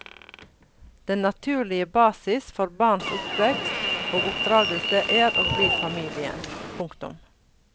Den naturlige basis for barns oppvekst og oppdragelse er og blir familien. punktum